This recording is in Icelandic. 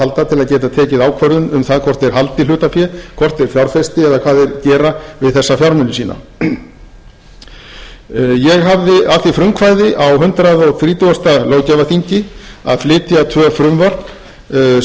halda til að geta tekið ákvörðun um það hvort þeir haldi hlutafé hvort þeir fjárfesti eða hvað þeir gera við þessa fjármuni sína ég hafði af því frumkvæði á hundrað þrítugasta löggjafarþingi að flytja tvö frumvörp sem